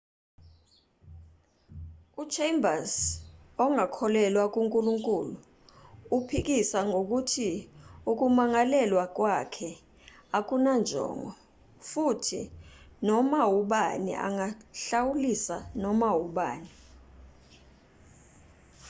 uchambers ongakholelwa kunkulunkulu uphikisa ngokuthi ukumangalelwa kwakhe akunanjongo futhi noma ubani angahlawulisa noma ubani